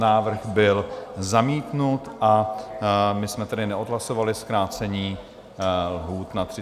Návrh byl zamítnut, a my jsme tedy neodhlasovali zkrácení lhůt na 30 dní.